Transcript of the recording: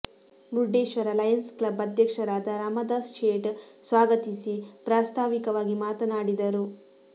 Murdeshwar Lions Club ಅಧ್ಯಕ್ಷರಾದ ರಾಮದಾಸ ಶೇಟ್ ಸ್ವಾಗತಿಸಿ ಪ್ರಾಸ್ತಾವಿಕವಾಗಿ ಮಾತನಾಡಿದರು